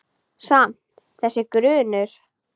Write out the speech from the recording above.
Samt- þessi grunur.